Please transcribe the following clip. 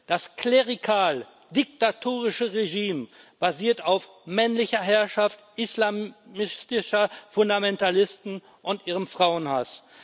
Das klerikal diktatorische Regime basiert auf männlicher Herrschaft islamistischer Fundamentalisten und ihrem Frauenhass.